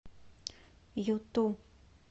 юту